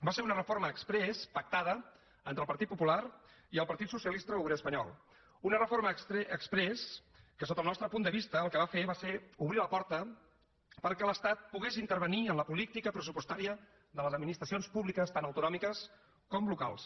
va ser una reforma exprés pactada entre el partit popular i el partit socialista obrer espanyol una reforma exprés que sota el nostre punt de vista el que va fer va ser obrir la porta perquè l’estat pogués intervenir en la política pressupostària de les administracions públiques tan autonòmiques com locals